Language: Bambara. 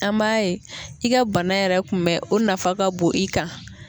An b'a ye i ka bana yɛrɛ kunbɛ u nafa ka bon i kan